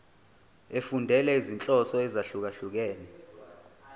efundela izinhloso ezahlukehlukene